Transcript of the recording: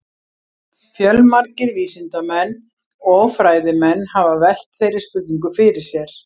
Fjölmargir vísindamenn og fræðimenn hafa velt þeirri spurningu fyrir sér.